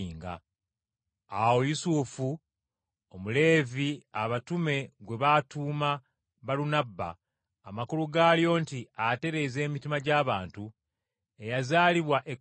Awo Yusufu, Omuleevi abatume gwe baatuuma Balunabba (amakulu gaalyo nti atereeza emitima gy’abantu) eyazaalibwa e Kupulo,